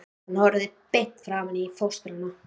Hann horfir beint framan í fóstrann.